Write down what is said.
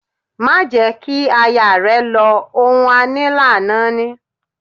Máa jẹ̀ ẹ́ kí aya rẹ lọ, ohun a ní làá náání